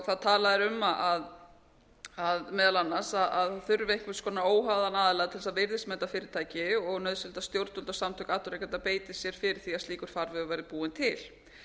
þá tala þeir um meðal annars að það þurfi einhvers konar óháðan aðila til þess að virðismeta fyrirtæki og nauðsynlegt að stjórnvöld og samtök atvinnurekenda beiti sér fyrir því að slíkur farvegur verði búinn til